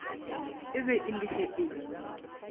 be e le ge e